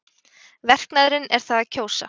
Verknaðurinn er það að kjósa.